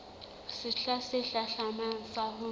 sehla se hlahlamang sa ho